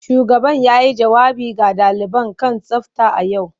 Shugaban yayi jawabi ga daliban kan tsafta a yau.